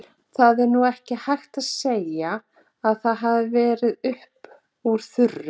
Það er nú ekki hægt að segja að það hafi verið upp úr þurru.